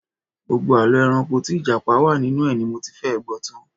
Gbogbo àlọ́ ẹranko tí Ìjápa wà nínú ẹ̀ ni mo ti fẹ́ẹ̀ gbọ́ tan